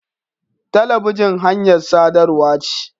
Talabijin hanyar sadarwa ce.